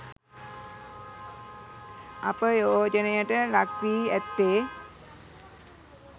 අපයෝජනයට ලක්වී ඇත්තේ